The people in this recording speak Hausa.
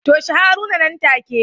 Toshe Haruna nan take